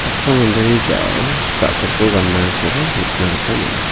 saksa mandeni ja·ao ja·kopko ganakoba nikna gita man·a.